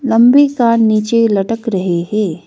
लंबी कान नीचे लटक रहे है।